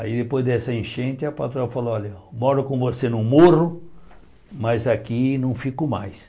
Aí depois dessa enchente, a patroa falou, olha, moro com você no morro, mas aqui não fico mais.